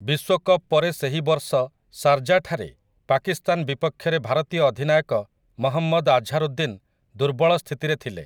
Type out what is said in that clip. ବିଶ୍ୱକପ୍ ପରେ ସେହି ବର୍ଷ ଶାରଜାଠାରେ ପାକିସ୍ତାନ ବିପକ୍ଷରେ ଭାରତୀୟ ଅଧିନାୟକ ମହମ୍ମଦ୍ ଆଝାରୁଦ୍ଦିନ୍ ଦୁର୍ବଳ ସ୍ଥିତିରେ ଥିଲେ ।